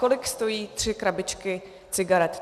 Kolik stojí tři krabičky cigaret?